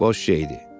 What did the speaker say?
Boş şeydir.